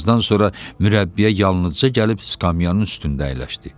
Bir azdan sonra mürəbbiyə yalnızca gəlib skamyannın üstündə əyləşdi.